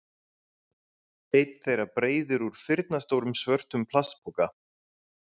Einn þeirra breiðir úr firnastórum svörtum plastpoka.